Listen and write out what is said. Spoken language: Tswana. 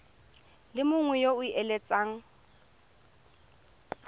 le mongwe yo o eletsang